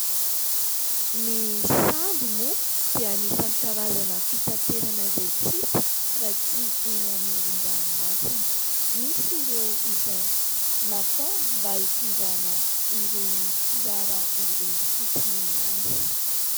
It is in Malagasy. Ny sambo moa dia anisan'ny karazana fitaterana izay tsy hita raha tsy eny amoron-dranomasina. Misy ireo izay natao mba hitondrana ireny fiara ireny fotsiny ihany.